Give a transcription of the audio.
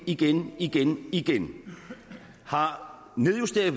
igen igen igen har nedjusteret